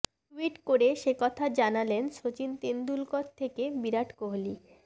tweet করে সেকথা জানালেন শচীন তেন্ডুলকর থেকে বিরাট কোহলি